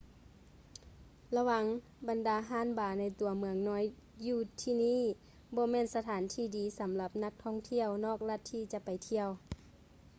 ລະວັງ ບັນດາຮ້ານບາ ໃນຕົວເມືອງນ້ອຍຢູ່ທີ່ນີ້ ບໍ່ແມ່ນສະຖານທີ່ທີ່ດີສຳລັບນັກທ່ອງທ່ຽວນອກລັດທີ່ຈະໄປທ່ຽວ